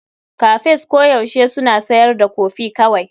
Cafes koyaushe suna siyar da kofi kawai.